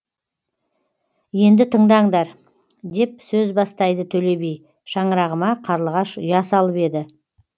енді тыңдаңдар деп сөз бастайды төле би шаңырағыма қарлығаш ұя салып еді